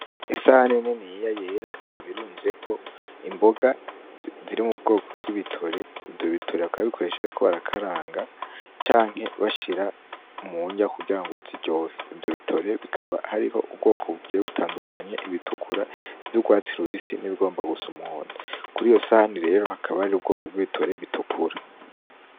Isahani niniya yera, ikaba irunzeko imboga ziri mu bwoko b'ibitore. Ivyo bitore bakaba babikoresha bariko barakaranga, canke bashira mu ndya kugira ngo ziryohe. Ivyo bitore bikaba hariho ubwoko bugiye butandukanye: ibitukura, iv'urwatsi rubisi, n'ibigomba gusa umuhondo. Kuriyo sahani rero hakaba hariho ubwoko bw'ibitore bitukura.